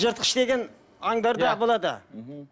жыртқыш деген андарда болады мхм